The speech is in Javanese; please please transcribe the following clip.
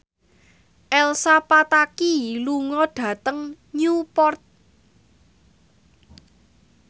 Elsa Pataky lunga dhateng Newport